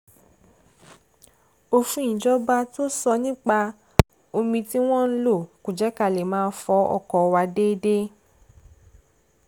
òfin ìjọba tó sọ nípa omi tí wọ́n ń lò kò jẹ́ ká lè máa fọ ọkọ̀ wa déédéé